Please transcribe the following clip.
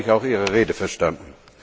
So habe ich auch Ihre Rede verstanden.